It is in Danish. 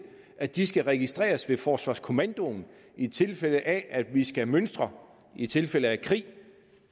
at de skal registreres ved forsvarskommandoen i tilfælde af at vi skal mønstre i tilfælde af krig